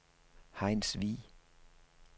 Hejnsvig